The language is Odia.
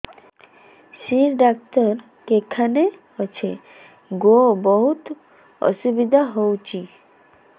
ଶିର ଡାକ୍ତର କେଖାନେ ଅଛେ ଗୋ ବହୁତ୍ ଅସୁବିଧା ହଉଚି